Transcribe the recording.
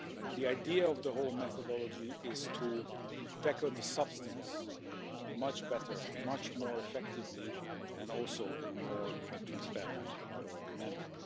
The idea of the whole methodology is to tackle the substance much better, much more effectively, and in a more transparent manner.